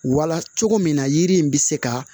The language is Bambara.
Wala cogo min na yiri in bɛ se ka